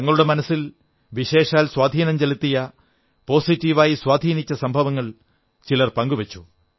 തങ്ങളുടെ മനസ്സിൽ വിശേഷാൽ സ്വാധീനം ചെലുത്തിയ സകാരാത്മകമായി സ്വാധീനിച്ച സംഭവങ്ങൾ ചിലർ പങ്കുവച്ചു